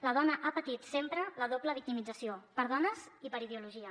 la dona ha patit sempre la doble victimització per dones i per ideologia